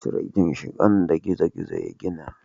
Cire ginshiƙan da gizo-gizo ya gina.